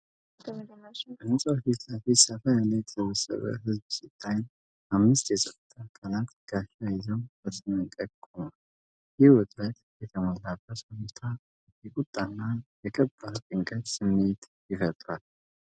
በሕንፃው ፊት ለፊት ሰፋ ያለ የተሰበሰበ ህዝብ ሲታይ፣ አምስት የጸጥታ አካላት ጋሻ ይዘው በተጠንቀቅ ቆመዋል። ይህ ውጥረት የተሞላበት ሁኔታ የቁጣና የከባድ ጭንቀት ስሜት ይፈጥራል።